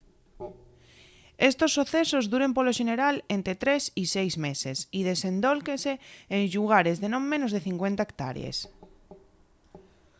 estos socesos duren polo xeneral ente tres y seis meses y desendólquense en llugares de non menos de 50 hectárees